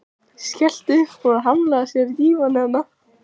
Skellti upp úr og hlammaði sér á dívaninn.